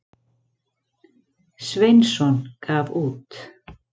Sveinsson gaf út.